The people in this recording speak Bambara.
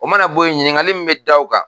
O mana bɔ yen ɲiningali min bɛ da o kan